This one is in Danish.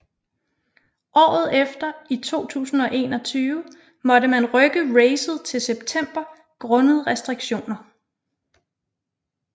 Året efter i 2021 måtte man rykke racet til september grundet restriktioner